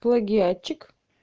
плагиатчик